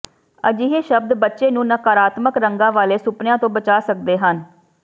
ਅਜਿਹੇ ਸ਼ਬਦ ਬੱਚੇ ਨੂੰ ਨਕਾਰਾਤਮਕ ਰੰਗਾਂ ਵਾਲੇ ਸੁਪਨਿਆਂ ਤੋਂ ਬਚਾ ਸਕਦੇ ਹਨ